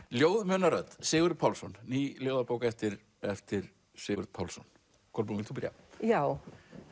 ljóð muna rödd Sigurður Pálsson ný ljóðabók eftir eftir Sigurð Pálsson Kolbrún vilt þú byrja já